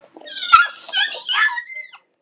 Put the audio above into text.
Blessuð hjónin.